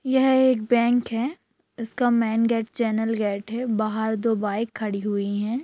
यह एक बैंक है इसका मैन गेट चैनल गेट है बाहर दो बाइक खड़ी हुई हैं।